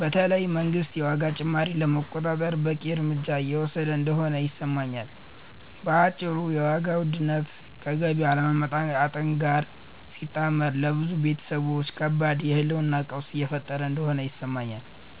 በተለይ መንግስት የዋጋ ጭማሪውን ለመቆጣጠር በቂ እርምጃ እየወሰደ እንደሆነ አይሰማኝም። በአጭሩ የዋጋ ውድነት ከገቢ አለመለወጥ ጋር ሲጣመር ለብዙ ቤተሰቦች ከባድ የህልውና ቀውስ እየፈጠረ እንደሆነ ይሰማኛል።